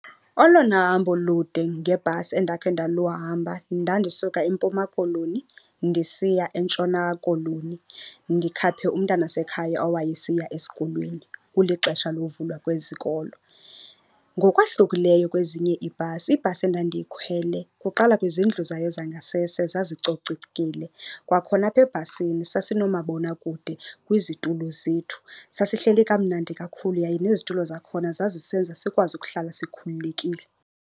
Olona hambo lude ngebhasi endakhe ndaluhamba ndandisuka eMpuma Koloni ndisiya eNtshona Koloni ndikhaphe umntanasekhaya owayesiya esikolweni kulixesha lovulwa kwezikolo. Ngokwahlukileyo kwezinye iibhasi, ibhasi endandiyikhwele kuqala kwizindlu zayo zangasese zazicocekile. Kwakhona apha ebhasini sasinoomabonakude kwizitulo zethu. Sasihleli kamnandi kakhulu yaye nezitulo zakhona zazisenza sikwazi ukuhlala sikhululekile.